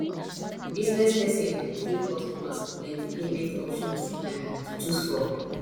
business person fit give customers plenty payment options um to choose from